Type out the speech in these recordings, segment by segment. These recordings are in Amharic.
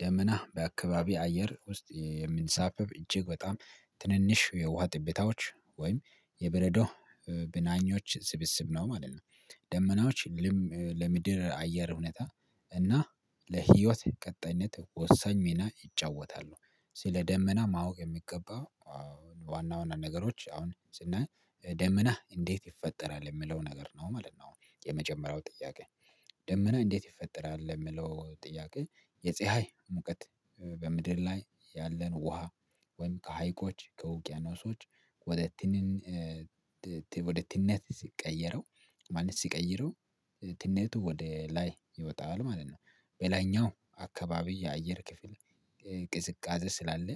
ደመና በአካባቢ አየር ውስጥ የምንሳፈፍ እጅግ በጣም ትንንሽ የውሃ ጥቤታዎች ወይም የበረዶ ብናኞች ስብስብ ነው ማለት ነው። ደመናዎች ለምድር አየር ሁኔታ እና ለህይወት ቀጣይነት ወሳኝ ሚና ይጫወታሉ። ስለ ደመና ማወቅ የሚገባ አሁን ዋና ዋና ነገሮች አሁን ስናይ ደመና እንዴት ይፈጠራል የምለው ነገር ነው ማለት ነው። የመጀመሪያው ጥያቄ ደመና እንዴት ይፈጠራል ለሚለው ጥያቄ የጽሃይ ሙቀት በምድር ላይ ያለን ውሃ ወይም ከሀይቆች ከውቅያኖሶች ወደ ትንን ወደ ትንነት ሲቀየረው ማለት ሲቀይረው ትነቱ ወደ ላይ ይወጣል ማለት ነው። በላይኛው አካባቢ የአየር ክፍል ቅዝቃዜ ስላለ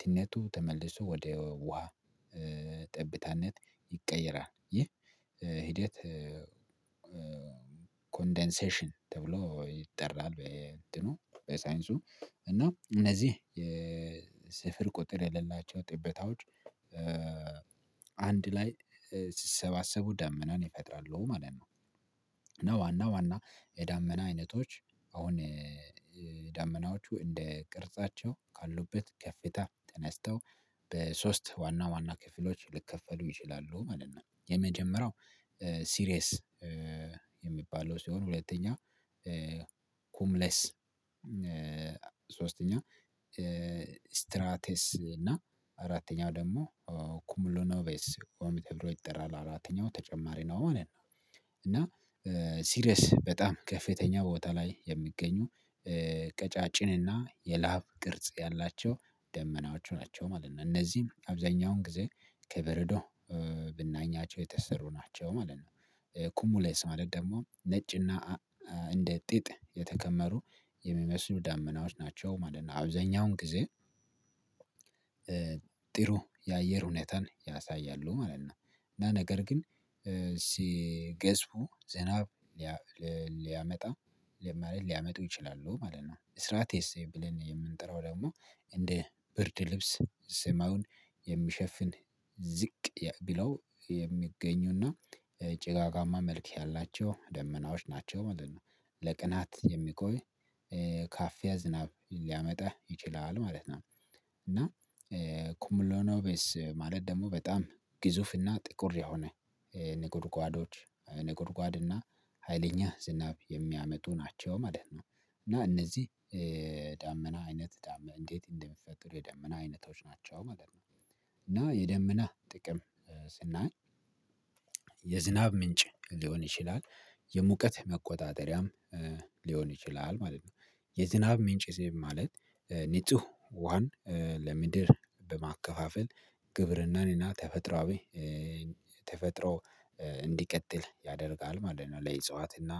ትነቱ ተመልሶ ወደ ውሃ ጠብታነት ይቀየራል ይህ ሂደት ኮንደንሴሽን ተብሎ ይጠራል። በየእንትኑ በሳይንሱ እና እነዚህ የስፍር ቁጥር የሌላቸው ጥበታዎች አንድ ላይ ሲሰባሰቡ ዳመናን ይፈጥራሉ ማለት ነው። እና ዋና ዋና የዳመና አይነቶች አሁን ዳመናዎቹ እንደ ቅርጻቸው ካሉበት ከፍታ ተነስተው በሶስት ዋና ዋና ክፍሎች ልከፈሉ ይችላሉ ማለት ነው። የመጀመሪያው ሲሪየስ የሚባለው ሲሆን ሁለተኛ ኩምለስ ሶስተኛ ስትራቴስ እና አራተኛው ደግሞ ኩሙሉኖቬስ ኦሚት ተብሎ ይጠራል አራተኛው ተጨማሪ ነው ማለት ነው። እና ሲሪየስ በጣም ከፌተኛ ቦታ ላይ የሚገኙ ቀጫጭንና የላብ ቅርጽ ያላቸው ደመናዎቹ ናቸው ማለት ነው። እነዚህም አብዛኛውን ጊዜ ከበረዶ ብናኛቸው የተሰሩ ናቸው ማለት ነው። ኩሙሌስ ማለት ደግሞ ነጭና እንደ ጥጥ የተከመሩ የሚመስሉ ዳመናዎች ናቸው ማለት ነው። አብዛኛውን ጊዜ ጥሩ የአየር ሁኔታን ያሳያሉ ማለት ነው። እና ነገር ግን ሲ ገዝፉ ዘናብ ሊያመጣ ሊያመጡ ይችላሉ ማለት ነው። እስራቴስ ብለን የምንጠራው ደግሞ እንደ ብርድ ልብስ ሰማዩን የሚሸፍን ዝቅ ብለው የሚገኙና ጭጋጋማ መልክ ያላቸው ደመናዎች ናቸው ማለት ነው። ለቀናት የሚቆይ ካፍያ ዝናብ ሊያመጣ ይችላል ማለት ነው። እና ኩምሎኔቤስ ማለት ደግሞ በጣም ግዙፍና ጥቁር የሆነ ነጎድጓዶች ነጎድጓድ እና ሀይለኛ ዝናብ የሚያመጡ ናቸው ማለት ነው። እና እነዚህ ዳመና አይነት እንዴት እንደሚፈጠሩ የዳመና አይነቶች ናቸው ማለት ነው። እና የደመና ጥቅም ስናይ የዝናብ ምንጭ ሊሆን ይችላል የሙቀት መቆጣጠሪያም ሊሆን ይችላል ማለት ነው። የዝናብ ምንጭ ስል ማለት ንጹህ ውሃን ለምድር በማከፋፈል ግብርናን እና ተፈጥሮአዊ ተፈጥሮ እንዲቀጥል ያደርጋል ማለት ነው። ለዕፅዋትና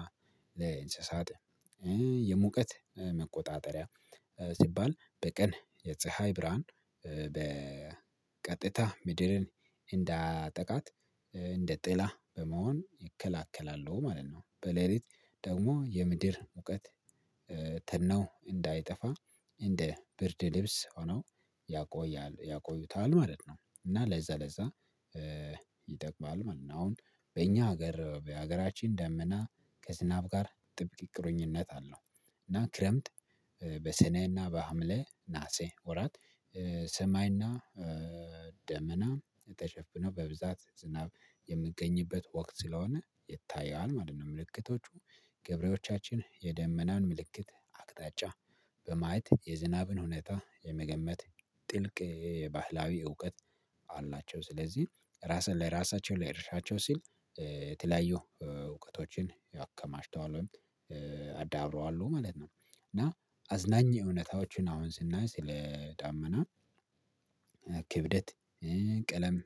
ለእንስሳት የሙቀት መቆጣጠሪያ ሲባል በቀን የፀሀይ ብርሃን በ በቀጥታ ምድርን እንዳያጠቃት እንደ ጥላ በመሆን ይከላከላሉ ማለት ነው። በሌሊት ደግሞ የምድር ሙቀት ተነው እንዳይጠፋ እንደ ብርድ ልብስ ሆኖ ያቆያል ያቆዩታል ማለት ነው። እና ለዛ ለዛ ይጠቅማል ማለት ነው። አሁን በእኛ ሀገር በሀገራችን ደመና ከዝናብ ጋር ጥብቅ ቁርኝነት አለው። እና ክረምት በሰኔና በሐምሌ ነሀሴ ወራት ሰማይና ደመና ተሸፍነው በብዛት ዝናብ የምገኝበት ወቅት ስለሆነ የታየዋን ምልክቶቹ ገብሬዎቻችን የደመናን ምልክት አቅጣጫ በማየት የዝናብን ሁኔታ የመገመት ጥልቅ ባህላዊ እውቀት አላቸው። ስለዚህ ራስን ለራሳቸው ለእርሻቸው ሲል የተለያዩ እውቀቶችን አከማችተዋል ወይም ማለት ነው። እና አዝናኝ እውነታዎችን አሁን ስናይ ስለ ዳመና ክብደት ቀለም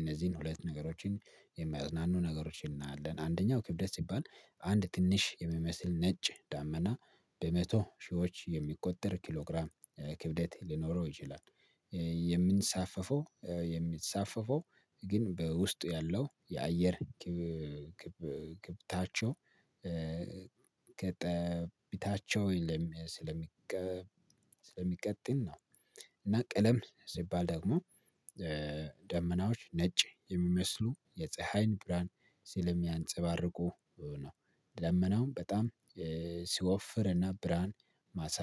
እነዚህን ሁለት ነገሮችን የሚያዝናኑ ነገሮችን እናያለን። አንደኛው ክብደት ሲባል አንድ ትንሽ የሚመስል ነጭ ዳመና በመቶ ሺዎች የሚቆጠር ኪሎ ግራም ክብደት ሊኖረው ይችላል። የምንሳፈፈው የሚንሳፈፈው ግን በውስጡ ያለው የአየር ግብታቸው ከጠብታቸው የለም ስለሚቀጥል ነው። እና ቀለም ሲባል ደግሞ ደመናዎች ነጭ የሚመስሉ የፀሀይን ብርሃን ሲለሚያንፀባርቁ ነው። ደመናውም በጣም ሲወፍር እና ብርሃን ማሳ